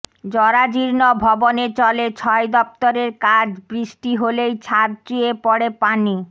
জরাজীর্ণ ভবনে চলে ছয় দপ্তরের কাজ বৃষ্টি হলেই ছাদ চুয়ে পড়ে পানি